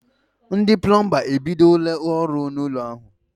Ndị plọmba e bidola ọrụ n'ụlọ ahụ.